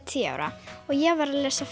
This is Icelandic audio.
tíu ára og ég var að lesa